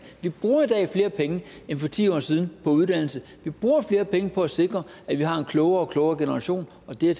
vi bruger i dag flere penge end for ti år siden på uddannelse vi bruger flere penge på at sikre at vi har en klogere og klogere generation og det er